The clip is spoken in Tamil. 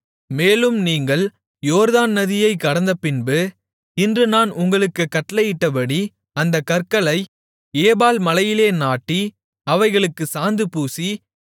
மேலும் நீங்கள் யோர்தான் நதியைக் கடந்தபின்பு இன்று நான் உங்களுக்குக் கட்டளையிட்டபடி அந்தக் கற்களை ஏபால் மலையிலே நாட்டி அவைகளுக்குச் சாந்து பூசி